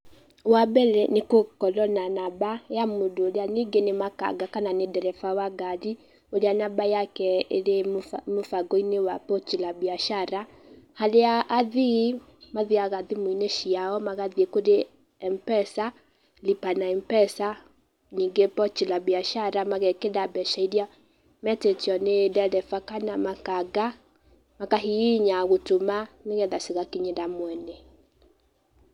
Wa mbere, nĩgũkorwo na namba ya mũndũ ũrĩa ningĩ nĩ makanga kana nĩ ndereba wa ngarĩ ,ũrĩa namba yake ĩrĩ mũ mũbango-inĩ wa pochi la biashara[cs,] haria athii mathiaga thimũ-inĩ ciao magathĩe mpesa lipa na mpesa ningĩ pochi la biashara magekĩra mbeca iria metĩtio nĩ ndereba kana makanga ,makahihinya gũtũma nĩgetha cigakinyĩra mwene.